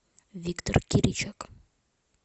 виктор киричек